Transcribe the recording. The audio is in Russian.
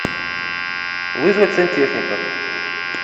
вызвать сантехника